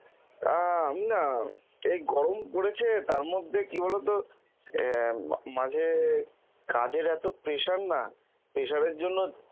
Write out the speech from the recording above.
আহ আমি না, এই গরম পড়েছে তার মধ্যে কি বলতো আহ মাঝে কাজের এত pressure না, pressure এর জন্য